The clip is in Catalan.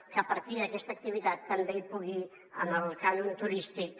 que a partir d’aquesta activitat també hi pugui amb el cànon turístic